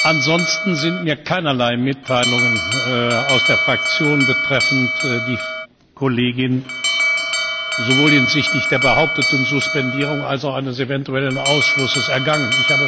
Ansonsten sind bei mir keinerlei Mitteilungen aus der Fraktion betreffend die Kollegin sowohl hinsichtlich der behaupteten Suspendierung als auch eines eventuellen Ausschlusses eingegangen.